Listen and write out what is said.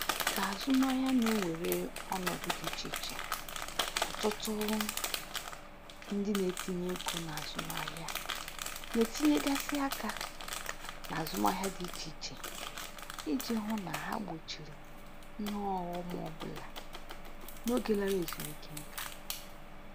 Ka azụmahịa na-ewere ọnọdụ dị iche iche, ọtụtụ ndị na-etinye ego n'ahịa na-etinyegasị aka n'azụmahịa dị ịche iche iji hụ na ha gbochiri ihe ọghọm ọbụla n'oge lara ezumike nka